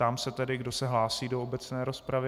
Ptám se tedy, kdo se hlásí do obecné rozpravy.